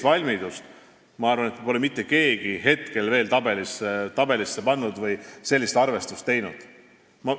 Seda, ma arvan, pole mitte keegi veel tabelisse pannud või sellist arvestust teinud.